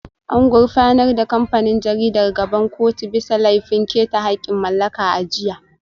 An gurfanar da kamfanin jaridar gaban kotu bisa laifin keta haƙƙin mallaka a jiya